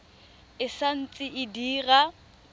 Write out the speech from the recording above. e sa ntse e dira